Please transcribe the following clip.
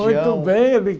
Muito bem eu me